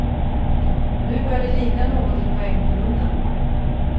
Och nu börjar det likna något i poängkolumnen.